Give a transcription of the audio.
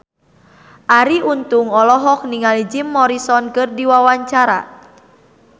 Arie Untung olohok ningali Jim Morrison keur diwawancara